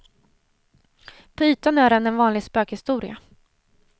På ytan är den en vanlig spökhistoria.